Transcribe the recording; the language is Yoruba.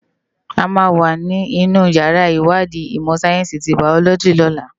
Ámá wá ninú iyàrá iwádi imò sáyènsi ti báyólòji lòlá